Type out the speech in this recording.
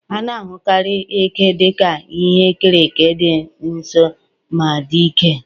A na-ahụkarị eke dị ka ihe e kere eke dị nsọ ma dị ike.